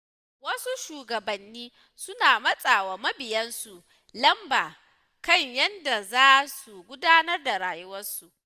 Wasu shugabanni suna matsa wa mabiyansu lamba kan yadda za su gudanar da rayuwarsu.